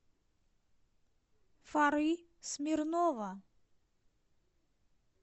фары смирнова